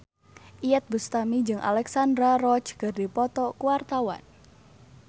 Iyeth Bustami jeung Alexandra Roach keur dipoto ku wartawan